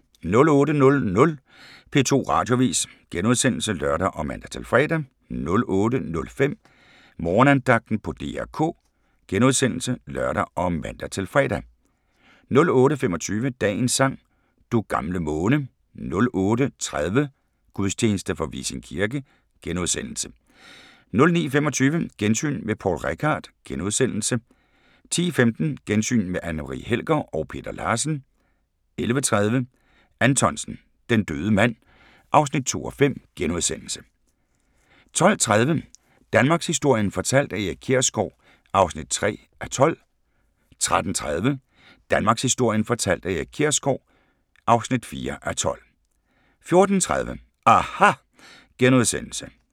08:00: P2 Radioavis *(lør og man-fre) 08:05: Morgenandagten på DR K *(lør og man-fre) 08:25: Dagens sang: Du gamle måne 08:30: Gudstjeneste fra Vissing kirke * 09:25: Gensyn med Poul Reichhardt * 10:15: Gensyn med Anne Marie Helger og Peter Larsen 11:30: Anthonsen - Den døde mand (2:5)* 12:30: Danmarkshistorien fortalt af Erik Kjersgaard (3:12) 13:30: Danmarkshistorien fortalt af Erik Kjersgaard (4:12) 14:30: aHA! *